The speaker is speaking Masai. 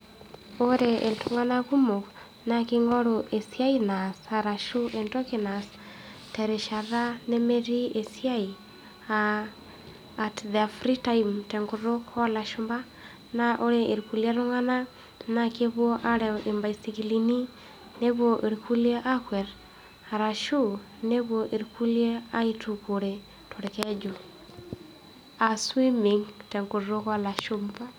Ore iltung'anak kumok, naa keingoru esiai naas arashu entoki naas terishata nemetii esiai, aa at their free time tenkutuk oolashumpa. Naa ore ilkuliek tunganak naa kepuo aarew imbaisikilini nepuo ilkuliek aakwet, arashu nepuo ilkiliek aitukuore tolkeju aa swimming tenkutuk oolashumpa.